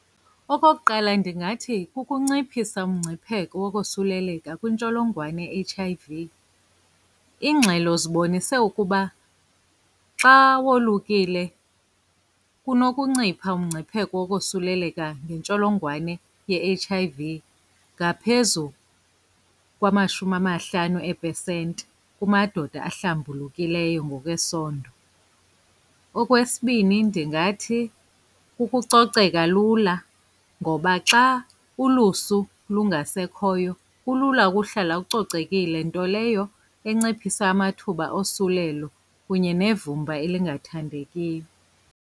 Okokuqala, ndingathi kukunciphisa umngcipheko wokosuleleka kwintsholongwane i-H_I_V. Iingxelo zibonise ukuba xa wolukile kunokuncipha umngcipheko wokosuleleka ngentsholongwane ye-H_I_V ngaphezu kwamashumi amahlanu eepesenti kumadoda ahlambulukileyo ngokwesondo. Okwesibini, ndingathi kukucoceka lula ngoba xa ulusu lungasekhoyo kulula ukuhlala ucocekile, nto leyo inciphisa amathuba osulelo kunye nevumba elingathandekiyo.